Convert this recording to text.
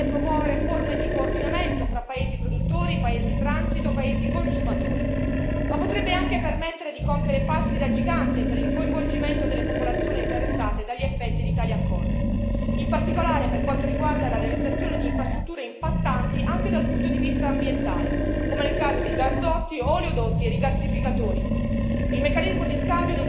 Questo strumento dovrebbe agevolare e promuovere forme di coordinamento fra paesi produttori, paesi di transito, paesi consumatori, ma potrebbe anche permettere di compiere passi da gigante per il coinvolgimento delle popolazioni interessate dagli effetti di tali accordi, in particolare per quanto riguarda la realizzazione di infrastrutture impattanti anche dal punto di vista ambientale come il caso di gasdotti, oleodotti e rigassificatori.